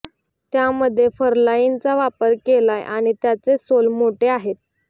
त्यामध्ये फरलाईनचा वापर केलाय आणि त्याचे सोल मोठे आहेत